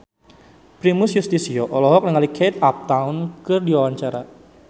Primus Yustisio olohok ningali Kate Upton keur diwawancara